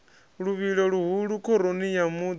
luvhilo luhulu khoroni ya muḓi